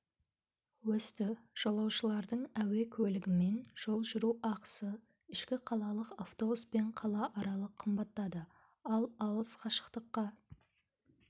өсті жолаушылардың әуе көлігімен жол жүру ақысы ішкі қалалық автобуспен қалааралық қымбаттады ал алыс қашықтыққа